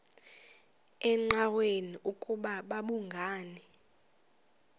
engqanweni ukuba babhungani